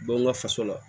Bɔ n ka faso la